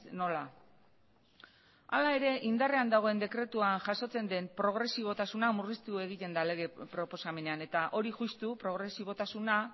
nola hala ere indarrean dagoen dekretuan jasotzen den progresibotasuna murriztu egiten da lege proposamenean eta hori justu progresibotasuna